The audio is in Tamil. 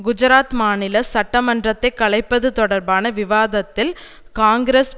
குஜராத் மாநில சட்டமன்றத்தை கலைப்பது தொடர்பன விவாதத்தில் காங்கிரஸ்